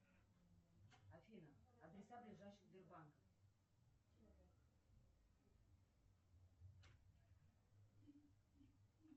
афина адреса ближайших сбербанков